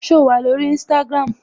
So wà lórí Instagram?